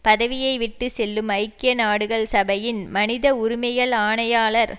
பதவியை விட்டு செல்லும் ஐக்கிய நாடுகள் சபையின் மனித உரிமைகள் ஆணையாளர்